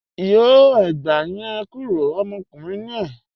Yọ ẹ̀gbà yẹn kúró, ọmọkùnrin ni e